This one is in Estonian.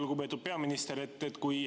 Lugupeetud peaminister!